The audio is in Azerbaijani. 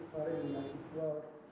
Yuxarı yerdə var.